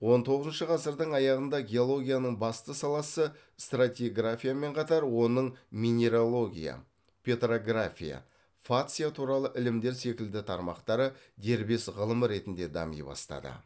он тоғызыншы ғасырдың аяғында геологияның басты саласы стратиграфиямен қатар оның минерология петрография фация туралы ілімдер секілді тармақтары дербес ғылым ретінде дами бастады